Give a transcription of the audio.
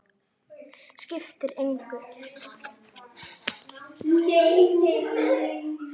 Skiptir engu.